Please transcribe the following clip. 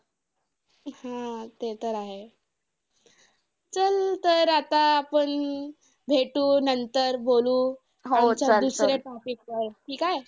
हम्म ते तर आहे. चल तर आता आपण भेटू नंतर. बोलू दुसऱ्या topic वर. ठीक आहे?